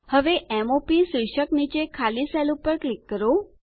હવે m o પ શીર્ષક નીચે ખાલી સેલ પર ક્લિક કરો